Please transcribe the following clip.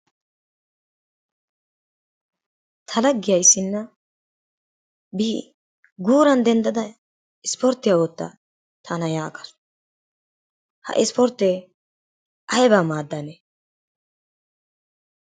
Ta laggiya issinna bi guuran denddada ispporttiya ootta tana yaagaasu. Ha ispporttee aybaa maaddanee?